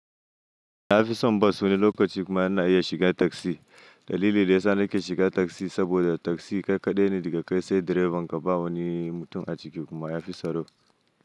Nafison Bus wani lokaci kuma ina iya shiga Taxi. Dalili dayasa nake shiga taxi saboda taxi ƙaiƙaɗai ne daga kai sai direbanka bawani mutum a ciki kuma ya fi tsaro.